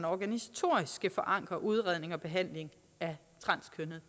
organisatorisk skal forankre udredning og behandling af transkønnede